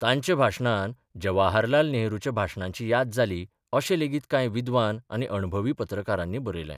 तांच्या भाशणान जवाहरलाल नेहरूच्या भाशणांची याद जाली अशें लेगीत कांय विद्वान आनी अणभवी पत्रकारांनी बरयलें.